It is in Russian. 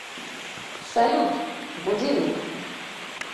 салют будильник